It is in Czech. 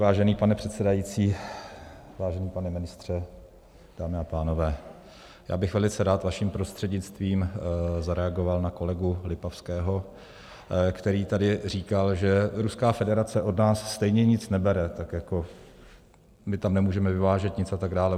Vážený pane předsedající, vážený pane ministře, dámy a pánové, já bych velice rád vaším prostřednictvím zareagoval na kolegu Lipavského, který tady říkal, že Ruská federace od nás stejně nic nebere, tak jako my tam nemůžeme vyvážet nic atd.